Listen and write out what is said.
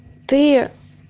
ты